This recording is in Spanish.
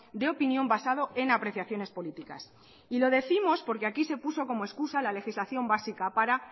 de opinión basado en apreciaciones políticas y lo décimos porque aquí se puso como excusa la legislación básica para